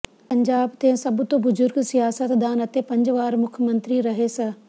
ਪੰਜਾਬ ਦੇ ਸਭ ਤੋਂ ਬਜੁਰਗ ਸਿਆਸਤਦਾਨ ਅਤੇ ਪੰਜ ਵਾਰ ਮੁੱਖ ਮੰਤਰੀ ਰਹੇ ਸ